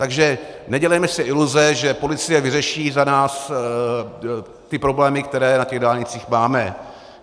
Takže nedělejme si iluze, že policie vyřeší za nás ty problémy, které na těch dálnicích máme.